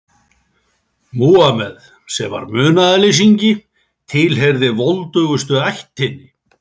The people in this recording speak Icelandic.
Múhameð, sem var munaðarleysingi, tilheyrði voldugustu ættinni.